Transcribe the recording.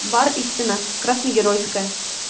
бар истина красногеройская